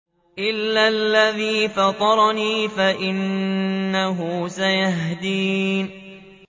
إِلَّا الَّذِي فَطَرَنِي فَإِنَّهُ سَيَهْدِينِ